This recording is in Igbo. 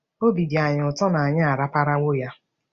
Obi dị anyị ụtọ na anyị araparawo ya!